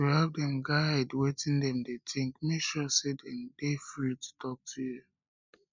to to help dem guide wetin dem de think make sure say dem de free to talk to you